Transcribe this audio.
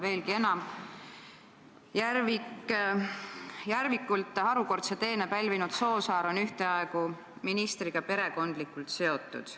Veelgi enam: Järvikult harukordse teene pälvinud Soosaar on ühtaegu ministriga perekondlikult seotud.